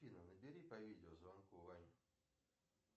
афина набери по видео звонку ваню